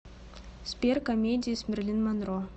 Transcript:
сбер комедии с мерлин монро